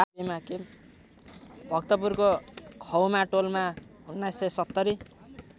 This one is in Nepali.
भक्तपुरको खौमाटोलमा १९७०